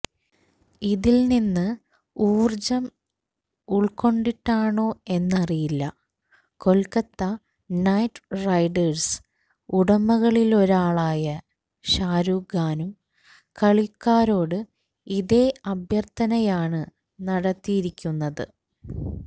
ഇതില് നിന്ന് ഊര്ജ്ജം ഉള്ക്കൊണ്ടിട്ടാണോ എന്നറിയില്ല കൊല്ക്കത്ത നൈറ്റ് റൈഡേര്സ് ഉടമകളിലൊരാളായ ഷാരൂഖ് ഖാനും കളിക്കാരോട് ഇതേ അഭ്യര്ത്ഥനയാണ് നടത്തിയിരിക്കുന്നത്